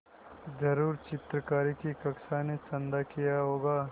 ज़रूर चित्रकारी की कक्षा ने चंदा किया होगा